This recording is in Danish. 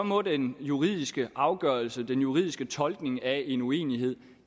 må den juridiske afgørelse den juridiske tolkning af en uenighed